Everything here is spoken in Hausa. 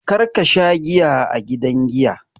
Kar ka sha giya a gidan giya!